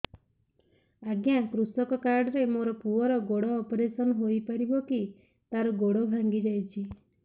ଅଜ୍ଞା କୃଷକ କାର୍ଡ ରେ ମୋର ପୁଅର ଗୋଡ ଅପେରସନ ହୋଇପାରିବ କି ତାର ଗୋଡ ଭାଙ୍ଗି ଯାଇଛ